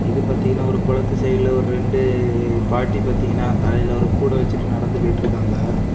இது பாத்தீங்கன்னா ஒரு குளத்து சைட்ல ஒரு ரெண்டு பாட்டி பாத்தீங்கன்னா தலையில ஒரு கூட வச்சுட்டு நடந்து போயிட்ருக்காங்க.